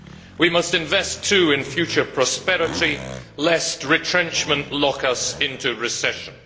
We must invest too in future prosperity, lest retrenchment lock us into recession.